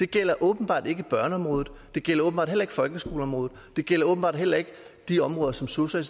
gælder åbenbart ikke børneområdet det gælder åbenbart heller ikke folkeskoleområdet det gælder åbenbart heller ikke de områder som sosu